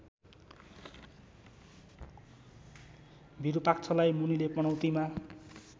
विरूपाक्षलाई मुनिले पनौतीमा